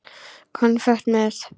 Konfekt með.